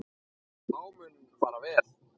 Þá mun vel fara.